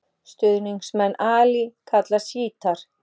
Stuðningsmenn Ali kallast sjítar.